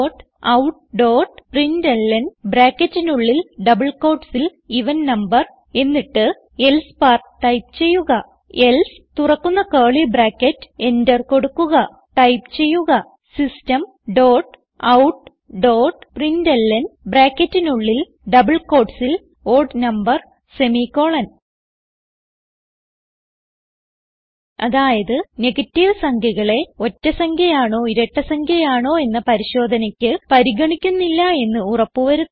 Systemoutprintlnഎവൻ number else enter കൊടുക്കുക type ചെയ്യുക Systemoutprintlnഓഡ് നംബർ അതായത് നെഗറ്റീവ് സംഖ്യകളെ ഒറ്റ സംഖ്യ ആണോ ഇരട്ട സംഖ്യ ആണോ എന്ന പരിശോധനക്ക് പരിഗണിക്കുന്നില്ലെന്ന് ഉറപ്പ് വരുത്തുന്നു